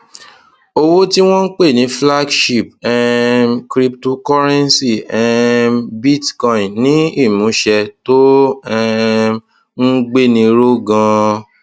owó tí wọn ń pè ní flagship um cryptocurrency um bitcoin ní ìmúṣẹ tó um ń gbéni ró ganan